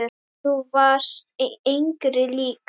Þú varst engri lík.